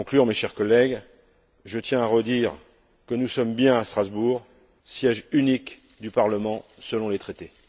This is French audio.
Pour conclure, mes chers collègues, je tiens à redire que nous sommes bien à Strasbourg, siège unique du Parlement selon les traités.